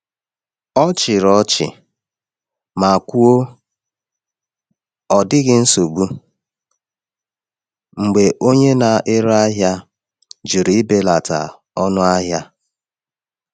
Ọ chịrị ọchị ma kwuo, “Ọ dịghị nsogbu,” mgbe onye na-ere ahịa jụrụ ibelata ọnụ ahịa.